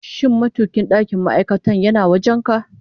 Shin matukin ɗakin ma'aikata yana wajen ka?